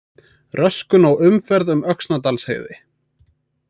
Röskun á umferð um Öxnadalsheiði